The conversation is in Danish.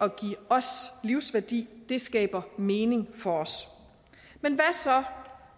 at give os livsværdi det skaber mening for os men hvad så